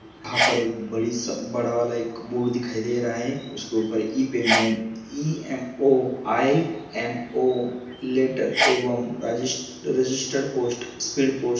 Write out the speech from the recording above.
यहा पर एक बडिस बड़ावाला एक बोर्ड दिखाई दे रहा है उसके उप्पर इ पेमेंट ई_एम_ओ आय_एम_ओ लेटर एवम रजिष्ट रेजीस्टर्ड पोस्ट स्पीड पोस्ट --